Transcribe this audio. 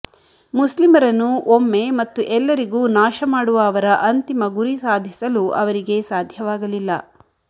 ಮುಸ್ಲಿಮರನ್ನು ಒಮ್ಮೆ ಮತ್ತು ಎಲ್ಲರಿಗೂ ನಾಶಮಾಡುವ ಅವರ ಅಂತಿಮ ಗುರಿ ಸಾಧಿಸಲು ಅವರಿಗೆ ಸಾಧ್ಯವಾಗಲಿಲ್ಲ